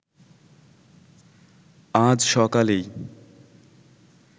আজ সকালেই